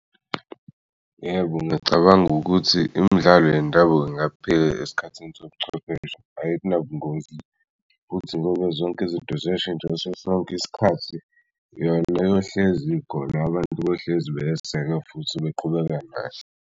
Yebo, ngiyacabanga ukuthi imidlalo yendabuko ingaphila esikhathini sobuchwepheshe. Ayinabungozi futhi ngoba zonke izinto ziyashintsha ngaso sonke isikhathi, yona yohlezi ikhona abantu bohlezi beyesekwa futhi beqhubeka kahle.